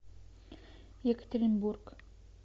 екатеринбург